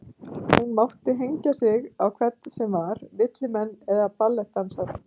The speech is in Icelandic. Hún mátti hengja sig á hvern sem var, villimenn eða ballettdansara.